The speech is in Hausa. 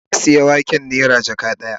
Na sayi waken nera jaka daya